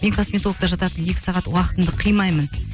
мен косметологта жататын екі сағат уақытымды қимаймын